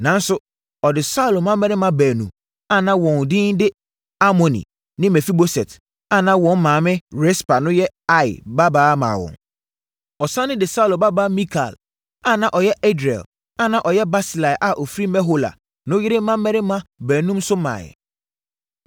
Nanso, ɔde Saulo mmammarima baanu a na wɔn edin de Armoni ne Mefiboset a na wɔn maame Rispa no yɛ Aia babaa maa wɔn. Ɔsane de Saulo babaa Mikal a na ɔyɛ Adriel a na ɔyɛ Barsilai a ɔfiri Mehola no yere mmammarima baanum no maeɛ.